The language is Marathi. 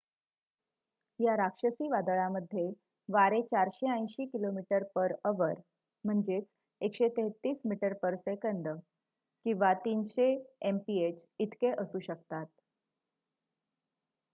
या राक्षसी वादळामध्ये वारे 480km/h 133 m/s; 300 mph इतके असू शकतात